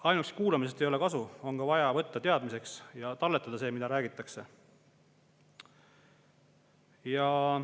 Aga ainult kuulamisest ei ole ka kasu, on vaja võtta teadmiseks ja talletada see, mida räägitakse.